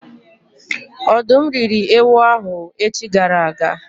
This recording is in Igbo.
Ọ̀dụ́m rị́ri ewu ahụ echi gara aga